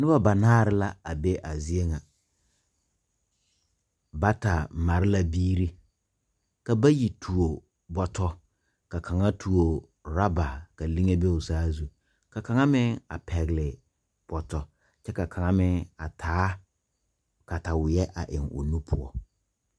Nuba banaare la a be a zeɛ nga bata mare la biiri ka bayi tuo boto ka kanga tuo ruba ka linge be ɔ saa zu ka kanga meng a pegli boto kye ka kanga meng a taa katawei a taa ɔ nu puo.